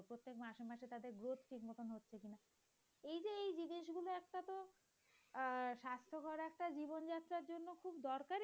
আহ স্বাস্থ্যকর একটা জীবন যাত্রার জন্য খুব দরকার।